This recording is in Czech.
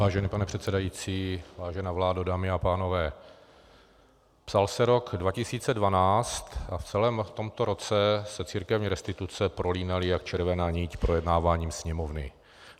Vážený pane předsedající, vážená vládo, dámy a pánové, psal se rok 2012 a v celém tomto roce se církevní restituce prolínaly jak červená niť projednáváním Sněmovny.